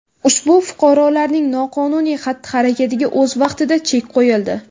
Ushbu fuqarolarning noqonuniy xatti-harakatiga o‘z vaqtida chek qo‘yildi.